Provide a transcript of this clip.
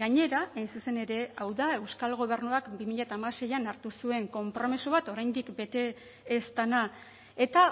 gainera hain zuzen ere hau da euskal gobernuak bi mila hamaseian hartu zuen konpromiso bat oraindik bete ez dena eta